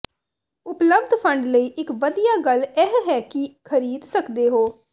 ਉਪਲੱਬਧ ਫੰਡ ਲਈ ਇਕ ਵਧੀਆ ਗੱਲ ਇਹ ਹੈ ਕਿ ਖ਼ਰੀਦ ਸਕਦੇ ਹੋ